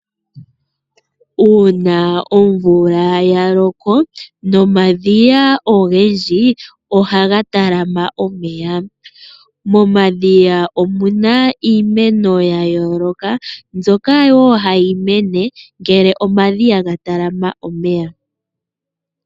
Uuna omvula ya loko nomadhiya ogendji oha ga talama omeya. Momadhiya omu na iimeno ya yooloka mbyoka yoo hayi mene ngele omadhiya ga talama omeya.